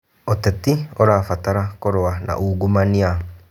ũteti ũrabatara kũrũa na ungumania.